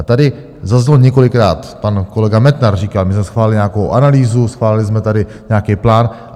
A tady zaznělo několikrát, pan kolega Metnar říkal, my jsme schválili nějakou analýzu, schválili jsme tady nějaký plán.